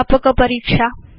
व्यापक परीक्षा